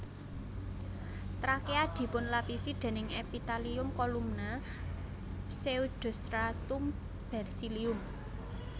Trakea dipunlapisi déning Epitelium Kolumna pseudostratum bersilium